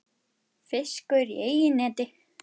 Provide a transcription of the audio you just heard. Fiskur í eigin neti.